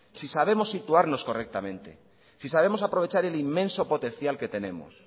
si sabemos situarnos correctamente si sabemos aprovechar el inmenso potencial que tenemos